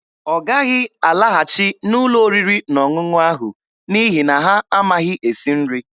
Ọ gaghị alaghachi n'ụlọ oriri na ọṅụṅụ ahụ n'ihi na ha amaghị esi nri.